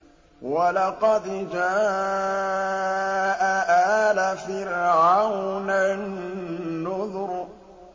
وَلَقَدْ جَاءَ آلَ فِرْعَوْنَ النُّذُرُ